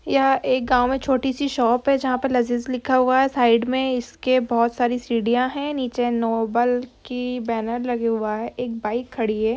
यहां एक गांव मे छोटी सी शॉप है जहां पे लजीज लिखा हुआ है जिसमें साइड मे इसके बहोत सारी सीढ़ियां है नीचे नोबल की बैनर लगा हुआ है एक बाइक खड़ी है।